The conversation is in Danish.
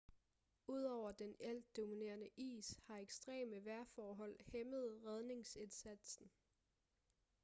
ud over den altdominerende is har ekstreme vejrforhold hæmmet redningsindsatsen